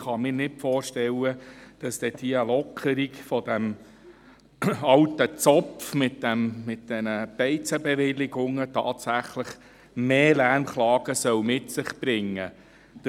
Ich kann mir nicht vorstellen, dass die Lockerung dieses alten Zopfs mit diesen Beizenbewilligungen tatsächlich mehr Lärmklagen mit sich bringen soll.